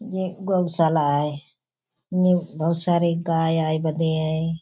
ये गौशाला है। इनमें बहुत सारे गाय आए बदे हैं।